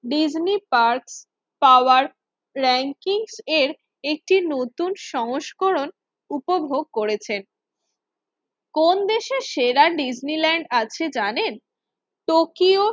Disney park power ranking এর একটি নতুন সংস্করণ উপভোগ করেছেন। কোন দেশে সেরা ডিজনিল্যান্ড আছে জানেন? টোকিও